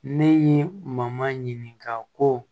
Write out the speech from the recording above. Ne ye maɲini ka ko